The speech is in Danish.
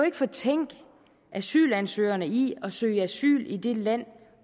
ikke fortænke asylansøgerne i at søge asyl i det land